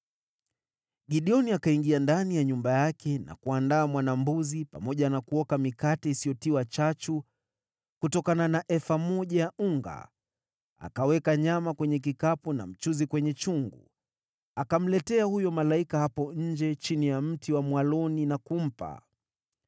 Gideoni akaingia ndani ya nyumba yake na kuandaa mwana-mbuzi pamoja na kuoka mikate isiyotiwa chachu kutokana na efa moja ya unga. Akaweka nyama kwenye kikapu na mchuzi kwenye chungu, akamletea huyo malaika hapo nje chini ya mti wa mwaloni na kumpa.